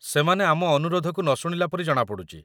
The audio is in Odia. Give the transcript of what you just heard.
ସେମାନେ ଆମ ଅନୁରୋଧକୁ ନଶୁଣିଲା ପରି ଜଣାପଡ଼ୁଛି